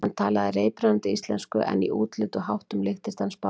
Hann talaði reiprennandi íslensku en í útliti og háttum líktist hann Spánverja.